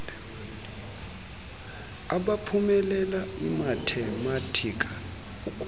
abaphumelela imathematika ukuxela